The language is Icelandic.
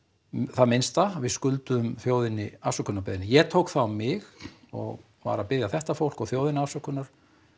það minnsta við skulda þjóðinni afsökunarbeiðni ég tók það á mig og var að biðja þetta fólk og þjóðina afsökunar